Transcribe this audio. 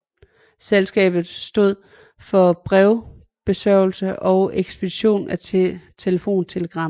Selskabet stod for brevbesørgelse og ekspedition af telefontelegrammer